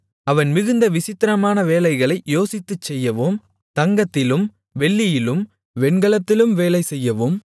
அவன் மிகுந்த விசித்திரமான வேலைகளை யோசித்துச் செய்யவும் தங்கத்திலும் வெள்ளியிலும் வெண்கலத்திலும் வேலை செய்யவும்